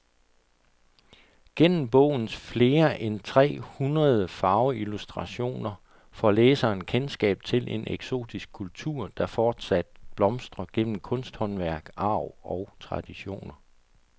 Gennem bogens flere end tre hundrede farveillustrationer får læseren kendskab til en eksotisk kultur, der fortsat blomstrer gennem kunsthåndværk, arv og traditioner.